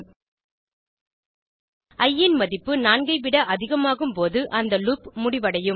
இ ன் மதிப்பு 4 விட அதிகமாகும் போது அந்த லூப் முடிவடையும்